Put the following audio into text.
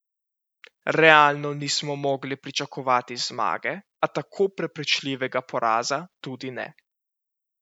Realno nismo mogli pričakovati zmage, a tako prepričljivega poraza tudi ne.